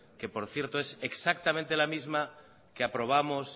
eque por cierto es exactamente la misma que aprobamos